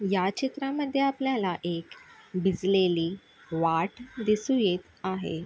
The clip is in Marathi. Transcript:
या चित्रामद्धे आपल्याला एक भिजलेली वाट दिसू येत आहे.